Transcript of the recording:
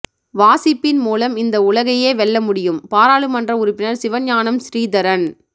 வாசிப்பின் மூலம் இந்த உலகையே வெல்ல முடியும் பாராளுமன்ற உறுப்பினர் சிவஞானம் சிறிதரன்